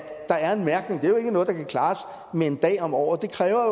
der er en mærkning det er jo ikke noget der kan klares med en dag om året det kræver